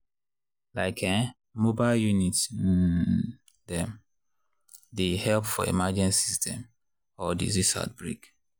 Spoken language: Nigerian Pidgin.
like[um]mobile units um dem dey help for emergencies dem or disease outbreaks.